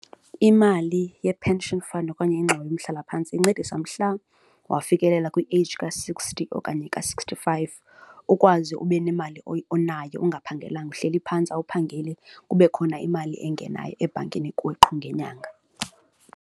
Imali ye-pension fund okanye ingxowa yomhlalaphantsi incedisa mhla wafikelela kwi-age ka-sixty okanye ka-sixty five, ukwazi ube nemali onayo ungaphangelilanga uhleli phantsi awuphangeli, kube khona imali engenayo ebhankini kuwe qho ngenyanga.